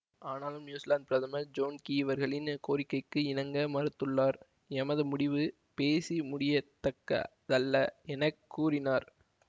ஆனாலும் நியூசிலாந்து பிரதமர் John Key இவர்களின் கோரிக்கைக்கு இணங்க மறுத்துள்ளார் எமது முடிவு பேசி முடியத் தக்க தல்ல என கூறினார்